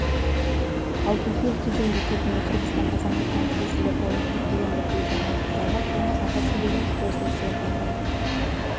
алтынкөл кеден бекетінде қырғызстан азаматына тиесілі тауар тәркіленді бұл жаңалық жабық және ақы төлеген жазылушыларға ғана